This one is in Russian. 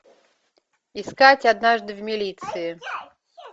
искать однажды в милиции